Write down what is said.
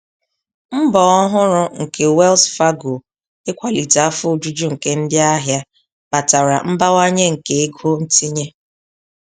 Mbọ ọhụrụ nke Wells Fargo ikwalite afọ ojuju nke ndị ahịa kpatara mbawanye nke ego ntinye.